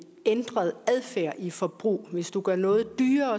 ændret adfærd i forbruget hvis du gør noget dyrere